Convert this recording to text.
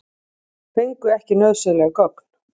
Fengu ekki nauðsynleg gögn